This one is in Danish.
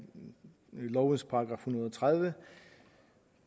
lovens § en hundrede og tredive